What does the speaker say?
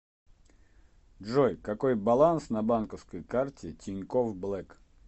джой какой баланс на банковской карте тинькофф блэк